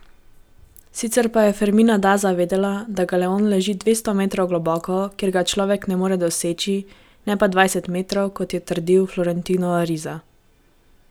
Sicer pa je Fermina Daza vedela, da galeon leži dvesto metrov globoko, kjer ga človek ne more doseči, ne pa dvajset metrov, kot je trdil Florentino Ariza.